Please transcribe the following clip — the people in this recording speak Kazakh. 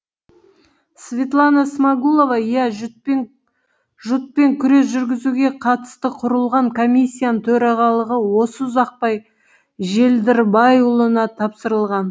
светлана смағұлова иә жұтпен күрес жүргізуге қатысты құрылған комиссияның төрағалығы осы ұзақбай желдірбайұлына тапсырылған